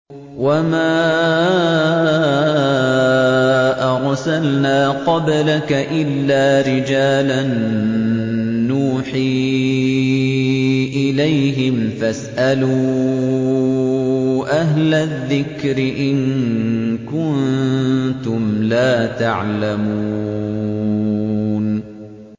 وَمَا أَرْسَلْنَا قَبْلَكَ إِلَّا رِجَالًا نُّوحِي إِلَيْهِمْ ۖ فَاسْأَلُوا أَهْلَ الذِّكْرِ إِن كُنتُمْ لَا تَعْلَمُونَ